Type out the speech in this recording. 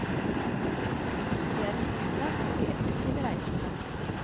Det er en flyplass for de effektive reisende.